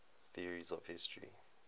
theories of history